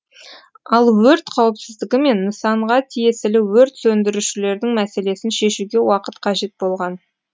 ал өрт қауіпсіздігі мен нысанға тиесілі өрт сөндірушілердің мәселесін шешуге уақыт қажет болған